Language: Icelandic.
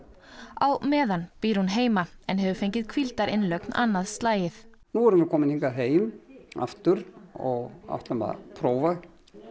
á meðan býr hún heima en hefur fengið hvíldarinnlögn annað slagið nú erum við komin heim aftur og ætlum að prófa